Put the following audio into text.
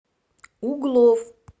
углов